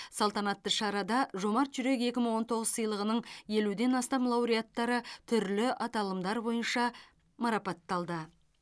салтанатты шарада жомарт жүрек екі мың он тоғыз сыйлығының елуден астам лауреаттары түрлі аталымдар бойынша марапатталды